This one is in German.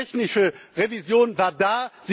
Die technische Revision war da.